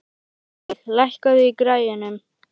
Veig, lækkaðu í græjunum.